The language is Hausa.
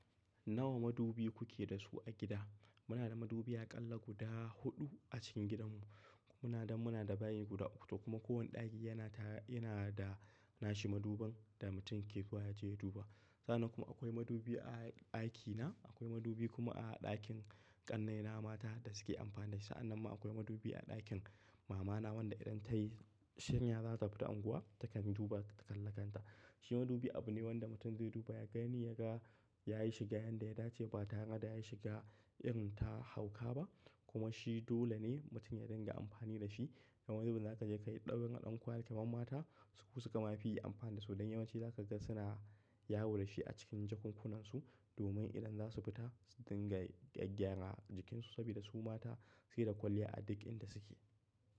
Nawa madubi kuke da su a gida? Muna da madubi aƙalla guda huɗu a cikin gidanmu. Muna damu muna da bayi guda hudu kuma kowane ɗaki yana da nashi madubin da mutum ke zuwa ya je ya duba. Sannan kuma akwai madubi a ɗakina, akwai madubi kuma a ɗakin ƙannaina mata da suke amfani da shi. Sa'an nan ma akwai madubi a ɗakin mamana wanda idan ta yi shinya za ta fita unguwa ta kan duba ta kalla kanta. Shi madubi abu ne wanda mutum zai duba ya gani ya ga ya yi shiga yanda ya dace ba tare da ya shiga irin ta hauka ba kuma shi dole ne mutum ya dinga amfani da shi. Yanzu za ka je ka yi ɗab'in a ɗankwali ke mamata su kuma fi amfani da su don yawanci za ka ga suna yawo da shi a cikin jakunkunansu domin idan za su fita su dinga gyaggya a jikinsu saboda su mata sai da kwalliya a duk inda suke.